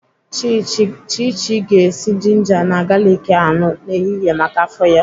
Chichi ga-esi jinja na galiki aṅụ n'ehihie maka afọ ya.